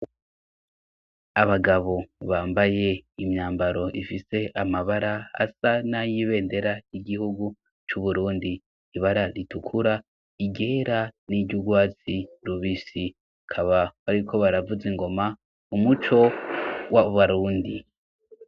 Abagabo bambaye imyambaro ifise amabara asa na yibendera igihugu c'uburundi ibara ritukura igera n'iryaurwazi rubisi kaba bariko baravuze ingoma umuco wa barundi.